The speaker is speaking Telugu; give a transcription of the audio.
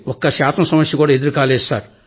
ఒక్కశాతం సమస్యకూడా ఎదురుకాలేదు